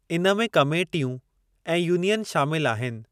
इन में कमेटियूं ऐं यूनियन शामिलु आहिनि।